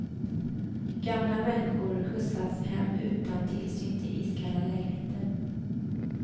Gamla människor skjutsas hem utan tillsyn till iskalla lägenheter.